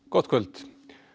gott kvöld